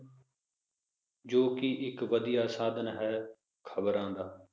ਜੋ ਕਿ ਇਕ ਵਧੀਆ ਸਾਧਨ ਹੈ ਖਬਰਾਂ ਦਾ